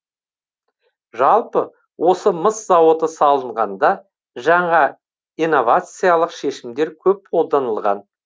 жалпы осы мыс зауыты салынғанда жаңа инновациялық шешімдер көп қолданылған